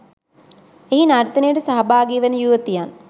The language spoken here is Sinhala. එහි නර්තනයට සහභාගි වන යුවතියන්